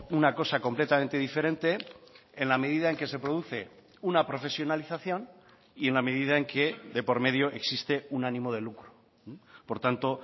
una cosa completamente diferente en la medida en que se produce una profesionalización y en la medida en que de por medio existe un ánimo de lucro por tanto